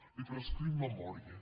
li prescric memòria